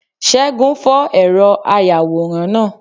según fó eró ayawóran náá